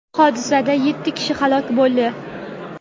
Hodisada yetti kishi halok bo‘ldi.